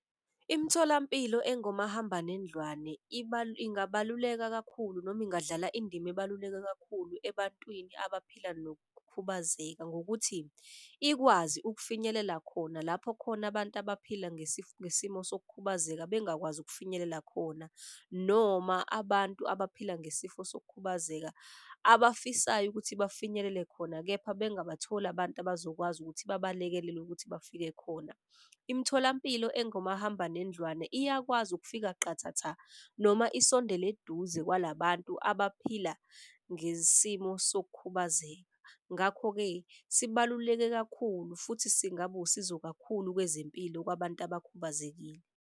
Imitholampilo engomahambanendlwane ingabeluleka kakhulu noma ingadlala indima ebaluleke kakhulu ebantwini abaphila nokukhubazeka. Ngokuthi ikwazi ukufinyelela khona lapho khona abantu abaphila ngesimo sokukhubazeka bengakwazi ukufinyelela khona. Noma abantu abaphila ngesifo sokukhubazeka abafisayo ukuthi bafinyelele khona, kepha bangabatholi abantu abazokwazi ukuthi babalekelele ukuthi bafike khona. Imitholampilo engomahambanendlwane iyakwazi ukufika qathatha noma isondele eduze kwala bantu abaphila ngesimo sokukhubazeka. Ngakho-ke sibaluleke kakhulu futhi singabusizo kakhulu kwezempilo kwabantu abakhubazekile.